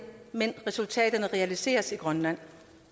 men resultaterne realiseres i grønland